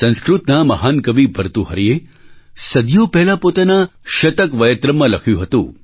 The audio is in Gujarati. સંસ્કૃતના મહાન કવિ ભર્તૃહરિએ સદીઓ પહેલાં પોતાના શતકવયત્રમ્ માં લખ્યું હતું